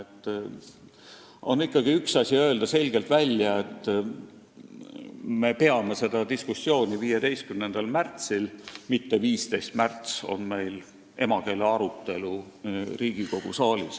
Võiks ikkagi selgelt välja öelda, et me peame seda diskussiooni 15. märtsil, mitte et 15. märts on meil emakeele arutelu Riigikogu saalis.